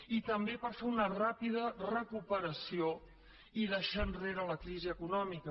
i també per fer una ràpida recuperació i deixar enrere la crisi econòmica